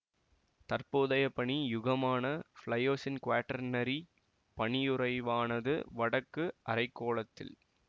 தற்போதைய பனி யுகமான பிளையோசின்குவார்டர்னரி பனியுறைவானது வடக்கு அரை கோளத்தில்